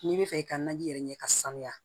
N'i bɛ fɛ i ka naji yɛrɛ ɲɛ ka sanuya